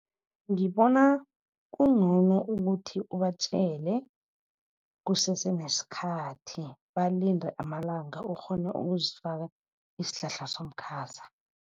Ngibona kungcono ukuthi ubatjele kusese nesikhathi balinde amalanga. Ukghone ukuzifake isihlahla somkhaza.